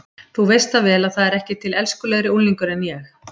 Þú veist það vel að það er ekki til elskulegri unglingur en ég.